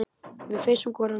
Við feisum hvor ann